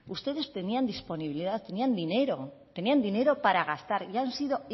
ustedes tenían disponibilidad tenían dinero tenían dinero para gastar y han sido